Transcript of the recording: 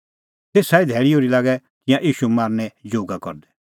तेसा ई धैल़ी ओर्ही लागै तिंयां ईशू मारनें जोगा करदै